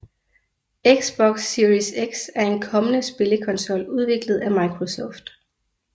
Xbox Series X er en kommende spillekonsol udviklet af Microsoft